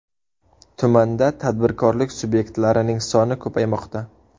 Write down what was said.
Tumanda tadbirkorlik subyektlarining soni ko‘paymoqda.